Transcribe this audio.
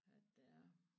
At det er